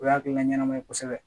O ye hakilina ɲɛnama ye kosɛbɛ